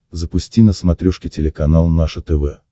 запусти на смотрешке телеканал наше тв